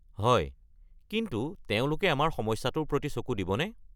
হয়, কিন্তু তেওঁলোকে আমাৰ সমস্যাটোৰ প্ৰতি চকু দিবনে?